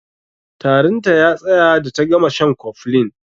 Tarin ta ya tsaya da ta gama shan cofflin.